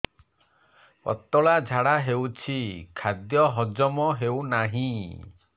ପତଳା ଝାଡା ହେଉଛି ଖାଦ୍ୟ ହଜମ ହେଉନାହିଁ